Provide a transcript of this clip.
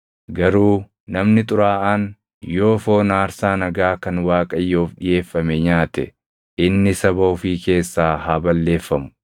Garuu namni xuraaʼaan yoo foon aarsaa nagaa kan Waaqayyoof dhiʼeeffame nyaate, inni saba ofii keessaa haa balleeffamu.